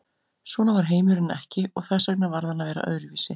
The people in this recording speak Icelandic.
Svona var heimurinn ekki og þess vegna varð hann að vera öðruvísi.